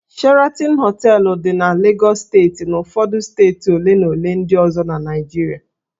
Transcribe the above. Sheraton Hóteélụ̀ dị na Lagos steeti na ụfọdụ steeti ole na ole ndị ọzọ na Naịjirịa